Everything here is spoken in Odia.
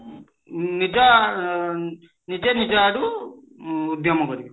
ନିଜ ନିଜେ ନିଜ ଆଡୁ ଉଦ୍ୟମ କରିବେ